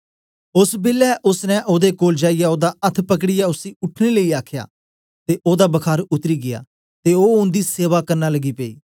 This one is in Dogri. ओस बेलै ओसने ओदे कोल जाईयै ओदा अथ्थ पकड़ीयै उसी उठने लेई आखया ते ओदा बखार उतरी गीया ते ओ उन्दी सेवा करन लगी पेई